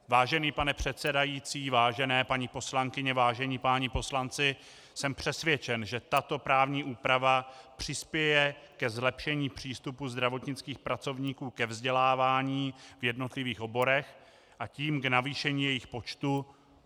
Vážený pane předsedající, vážené paní poslankyně, vážení páni poslanci, jsem přesvědčen, že tato právní úprava přispěje ke zlepšení přístupu zdravotnických pracovníků ke vzdělávání v jednotlivých oborech, a tím k navýšení jejich počtu.